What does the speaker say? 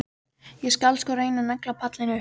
Ég skal svo reyna að negla pallinn upp.